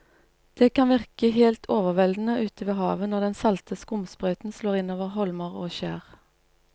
Det kan virke helt overveldende ute ved havet når den salte skumsprøyten slår innover holmer og skjær.